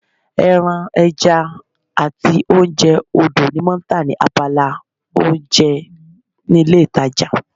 Ẹran, ẹja àti oúnjẹ odò ni wọ́n tà ní abala oúnjẹ ní ilé ìtajà